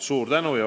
Suur tänu!